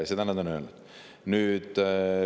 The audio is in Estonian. Seda on nad öelnud.